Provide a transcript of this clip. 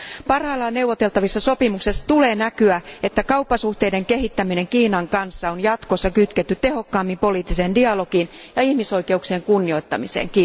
Parhaillaan neuvoteltavissa sopimuksissa tulee näkyä, että kauppasuhteiden kehittäminen Kiinan kanssa on jatkossa kytketty tehokkaammin poliittiseen dialogiin ja ihmisoikeuksien kunnioittamiseen.